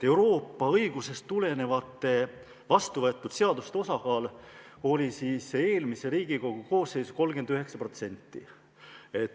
Euroopa õigusest tulenenud vastuvõetud seaduste osakaal oli eelmise Riigikogu koosseisu puhul 39%.